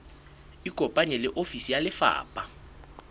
ikopanye le ofisi ya lefapha